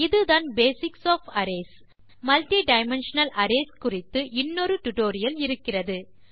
இதுதான் basics of arrays multidimensional arrays குறித்து இன்னொரு டியூட்டோரியல் இருக்கிறது